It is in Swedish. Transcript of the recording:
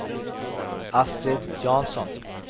Astrid Jansson